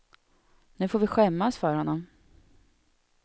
Nu får vi skämmas för honom.